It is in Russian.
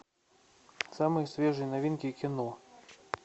самые свежие новинки кино